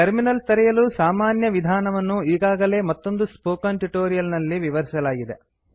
terminal ತೆರೆಯಲು ಸಾಮಾನ್ಯ ವಿಧಾನವನ್ನು ಈಗಾಗಲೇ ಮತ್ತೊಂದು ಸ್ಪೋಕನ್ ಟ್ಯುಟೋರಿಯಲ್ ನಲ್ಲಿ ವಿವರಿಸಲಾಗಿದೆ